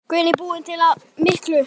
Guðný: Búinn að tapa miklu?